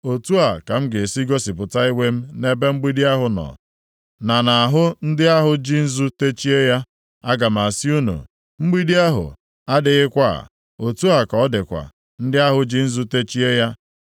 Otu a ka m ga-esi gosipụta iwe m nʼebe mgbidi ahụ nọ, na nʼahụ ndị ahụ ji nzu techie ya. Aga m asị unu, “Mgbidi ahụ adịghịkwa, otu a ka ọ dịkwa ndị ahụ ji nzu techie ya,